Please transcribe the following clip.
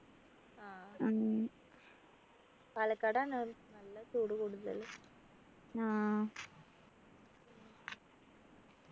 ആഹ് പാലക്കാട് ആണ് നല്ല ചൂട് കൂടുതൽ